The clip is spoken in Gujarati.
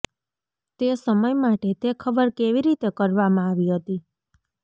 તે સમય માટે તે ખબર કેવી રીતે કરવામાં આવી હતી